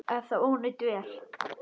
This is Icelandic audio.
Er þetta ónýt vél?